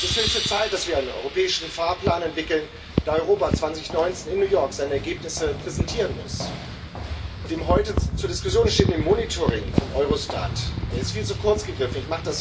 Es ist höchste Zeit, dass wir einen europäischen Fahrplan entwickeln, da Europa 2019 in New York seine Ergebnisse präsentieren muss. Das heute zur Diskussion stehende Monitoring von Eurostat ist viel zu kurz gegriffen.